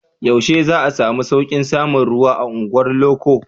Yaushe za a samu sauƙin samun ruwa a unguwar loko?